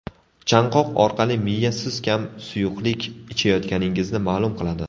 Chanqoq orqali miya siz kam suyuqlik ichayotganingizni ma’lum qiladi.